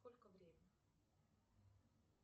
сколько время